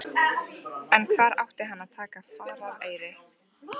En hvar átti hann að taka farareyri?